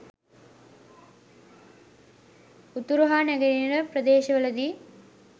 උතුරු හා නැගෙනහිර ප්‍රදේශවලදී